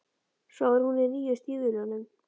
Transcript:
Svo var hún í nýju stígvélunum.